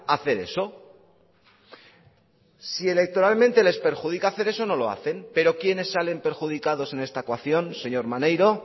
hacer eso si electoralmente les perjudica hacer eso no lo hacen pero quienes salen perjudicados en esta coacción señor maneiro